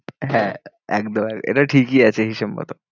হ্যাঁ একদম এটা ঠিকই আছে হিসেব মতো।